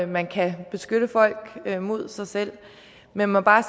man kan beskytte folk mod sig selv jeg må bare